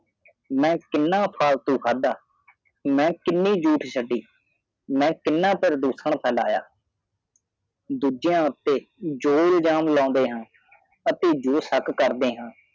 ਮੈ ਕਿਨਾ ਫਾਲਤੂ ਖਾਦ ਮੈ ਕਿਨਿ ਝੂਠ ਛਾਡਿ ਮੈ ਕਿੰਨਾ ਪਰਦੁਸ਼ਾਨ ਫੈਲਿਆ ਦੂਜੀਆ ਉਤੇ ਜੋ ਇਲਜ਼ਮ ਲੌਂਦੇ ਹਾਂ ਆਤੇ ਜੋ ਸ਼ਾਕ ਕਰਦੇ ਹਾਂ